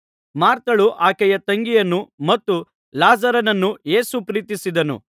ಮಾರ್ಥಳನ್ನು ಆಕೆಯ ತಂಗಿಯನ್ನು ಮತ್ತು ಲಾಜರನನ್ನು ಯೇಸು ಪ್ರೀತಿಸುತ್ತಿದ್ದನು